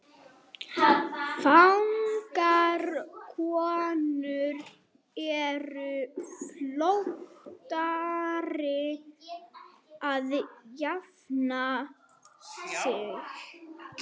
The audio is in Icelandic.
Fagrar konur eru fljótari að jafna sig.